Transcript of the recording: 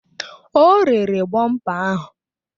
O rere bọmpa ahụ